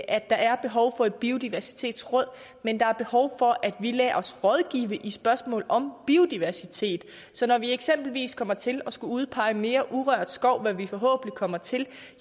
er behov for et biodiversitetsråd men der er behov for at vi lader os rådgive i spørgsmål om biodiversitet så når vi eksempelvis kommer til at skulle udpege mere urørt skov hvad vi forhåbentlig kommer til